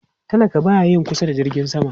Talaka ba ya yin kusa da jirgin sama